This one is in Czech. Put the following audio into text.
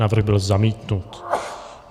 Návrh byl zamítnut.